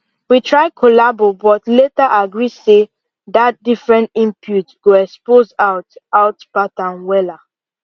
we try collabo but later agree say dat different inpute go expose out out pattern wella